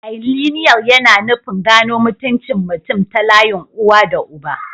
Bilineal yana nufin gano mutuncin mutum ta layin uba da uwa.